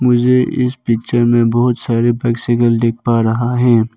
मुझे इस पिक्चर में बहुत सारे दिख पा रहा है।